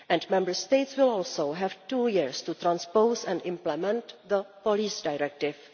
Member States will also have two years to transpose and implement the police directive.